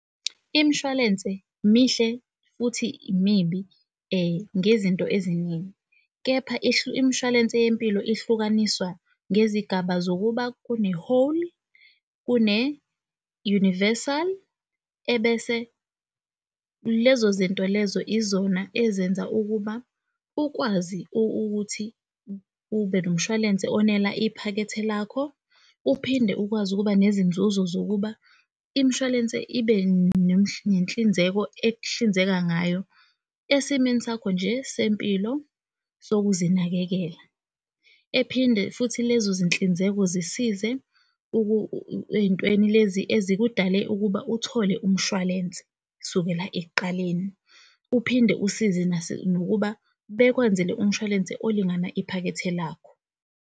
Imshwalense mihle futhi mibi ngezinto eziningi, kepha imshwalense yempilo ihlukaniswa ngezigaba zokuba kune-whole, kune-universal, ebese lezo zinto lezo izona ezenza ukuba ukwazi ukuthi ube nomshwalense onela iphakethe lakho, uphinde ukwazi ukuba nezinzuzo zokuba imshwalense ibe nenhlinzeko ekuhlinzeka ngayo esimeni sakho nje sempilo sokuzinakekela, ephinde futhi lezo zinhlinzeko zisize ey'ntweni lezi ezikudale ukuba uthole umshwalense sukela ekuqaleni, uphinde usize nokuba bekwenzele umshwalense olingana iphakethe lakho.